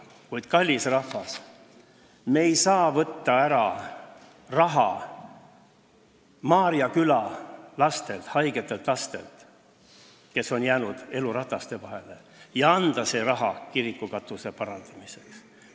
Kuid, kallis rahvas, me ei saa võtta ära raha Maarja Küla lastelt, haigetelt lastelt, kes on jäänud elu hammasrataste vahele, ja anda selle raha kiriku katuse parandamiseks.